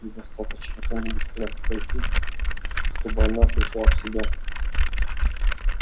и достаточно кому-нибудь из вас подойти чтобы она пришла в себя